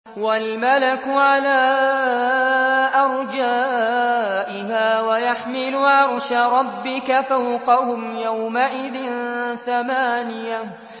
وَالْمَلَكُ عَلَىٰ أَرْجَائِهَا ۚ وَيَحْمِلُ عَرْشَ رَبِّكَ فَوْقَهُمْ يَوْمَئِذٍ ثَمَانِيَةٌ